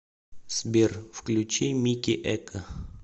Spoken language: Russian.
сбер включи микки экко